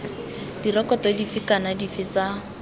direkoto dife kana dife tsa